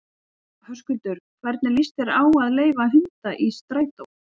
Höskuldur: Hvernig líst þér á að leyfa hunda í strætó?